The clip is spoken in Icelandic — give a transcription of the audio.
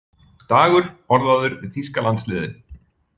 Dagur orðaður við þýska landsliðið